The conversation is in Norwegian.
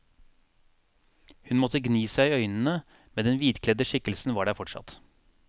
Hun måtte gni seg i øynene, men den hvitkledde skikkelsen var der fortsatt.